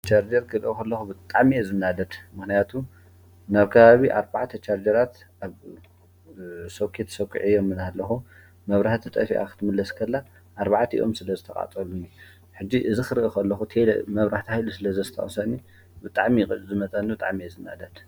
ብሻርጀር ክድኸለኹ ብጣሜየ ዝናደድ መህናያቱ ነብካባቢ ኣርባዓት ተሣርጀራት ኣሶከት ሰዂዐ እዮም ምናኣለኹ መብራህቲ ጠፊዐኽትምለስከላ ኣርባዓት ይኦም ስለ ዝተቓጸሉኒ ሕጊ እዝ ኽርእኽ ለኹ ል መብራህታ ሂሉ ስለ ዘስተዖሰኒ ብጣዕሚቕ ዝመጠኒ ብጣዕሜየ ዝናደድ